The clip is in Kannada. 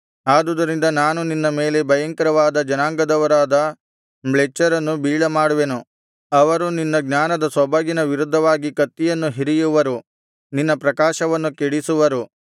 ಆದುದರಿಂದ ನಾನು ನಿನ್ನ ಮೇಲೆ ಭಯಂಕರವಾದ ಜನಾಂಗದವರಾದ ಮ್ಲೇಚ್ಛರನ್ನು ಬೀಳಮಾಡುವೆನು ಅವರು ನಿನ್ನ ಜ್ಞಾನದ ಸೊಬಗಿನ ವಿರುದ್ಧವಾಗಿ ಕತ್ತಿಯನ್ನು ಹಿರಿಯುವರು ನಿನ್ನ ಪ್ರಕಾಶವನ್ನು ಕೆಡಿಸುವರು